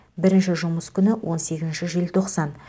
бірінші жұмыс күні он сегізінші желтоқсан